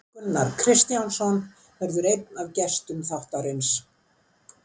Gunnar Kristjánsson verður einn af gestum þáttarins.